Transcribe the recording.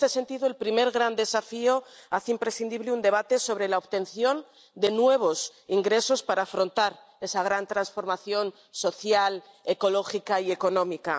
Y, en este sentido, el primer gran desafío hace imprescindible un debate sobre la obtención de nuevos ingresos para afrontar esa gran transformación social, ecológica y económica.